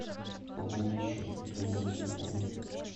пополнить счет другого телефона